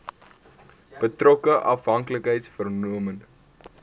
betrokke afhanklikheids vormende